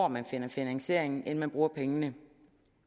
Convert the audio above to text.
man finder finansiering inden man bruger pengene